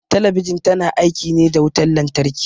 Talabijin ta na aiki ne da wutan lantarki